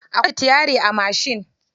Akwai sitiyari a mashin.